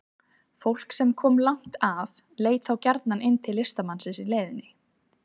Fólk sem kom langt að leit þá gjarnan inn til listamannsins í leiðinni.